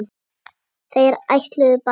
Þeir ætluðu bara